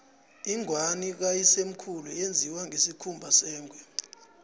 ingwani kayisemkhulu yenziwe ngesikhumba sengwe